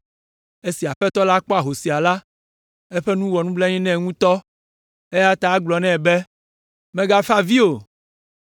Esi Aƒetɔ la kpɔ ahosia la, eƒe nu wɔ nublanui nɛ ŋutɔ, eya ta egblɔ nɛ be, “Mègafa avi o!”